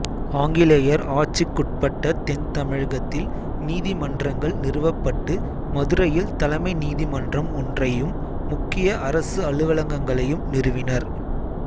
ஆங்கிலேயர் ஆட்சிக்குட்பட்ட தென் தமிழகத்தில் நீதிமன்றங்கள் நிறுவப்பட்டு மதுரையில் தலைமை நீதிமன்றம் ஒன்றையும் முக்கிய அரசு அலுவலகங்களையும் நிறுவினர்